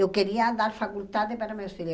Eu queria dar faculdade para meus filhos.